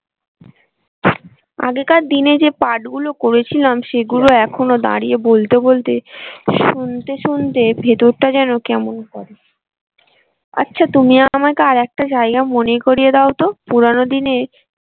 আগেকার দিনে যে পাঠ গুলো করেছিলাম সেগুলো এখনো দাঁড়িয়ে বলতে বলতে শুনতে শুনতে ভেতরটা যেন কেমন করে আচ্ছা তুমি আমাকে আর একটা জায়গা মনে করিয়ে দাও তো পুরানো দিনের।